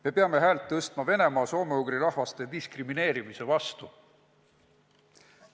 Me peame häält tõstma Venemaa soome-ugri rahvaste diskrimineerimise vastu.